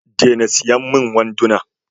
Dena siyan min wanduna!